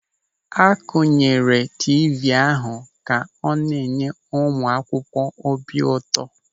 A kunyere tiivii ahụ ka ọ na-enye ụmụ akwụkwọ obi ụtọ.